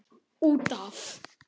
Út af.